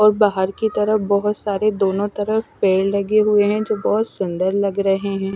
और बाहर की तरफ बहुत सारे दोनों तरफ पैड लगे हुए हैं जो बहुत सुंदर लग रहे हैं।